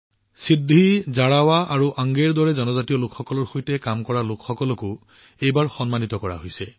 সিদ্ধি জাৰাৱা আৰু অংগেৰ দৰে জনজাতীয় লোকৰ সৈতে কাম কৰা লোকসকলকো এইবাৰ সন্মানিত কৰা হৈছে